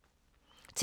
TV 2